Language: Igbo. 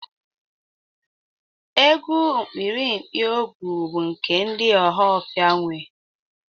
Egwu Ikpirikpi-ọgu bu nke ndi ohafia nwe